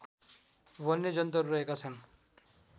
वन्यजन्तुहरू रहेका छन्